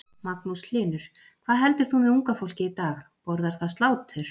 Magnús Hlynur: Hvað heldur þú með unga fólkið í dag, borðar það slátur?